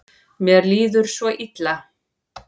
Mér líður svo illa.